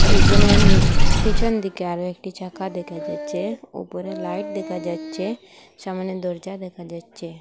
দুজনের নি পিছনদিকে আরও একটি চাকা দেখা যাচ্ছে ওপরে লাইট দেখা যাচ্ছে সামোনে দরজা দেখা যাচ্ছে।